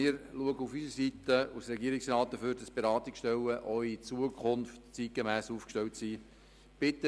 Wir werden von unserer Seite als Regierungsrat dafür sorgen, dass die Beratungsstellen auch in Zukunft zeitgemäss aufgestellt sind.